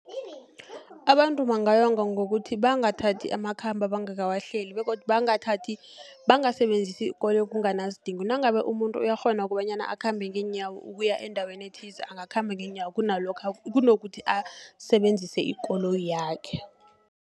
Abantu bangayonga ngokuthi, bangathathi amakhambo abangakawahleli, begodu bangasebenzisi ikoloyi kunganasidingo, nangabe umuntu uyakghona kukobanyana akhambe ngeenyawo ukuya endaweni ethize, akakhambe ngeenyawo, kunokuthi asebenzise ikoloyi yakhe.